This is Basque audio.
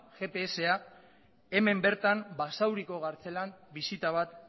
gpsa hemen bertan basauriko kartzelan bisita bat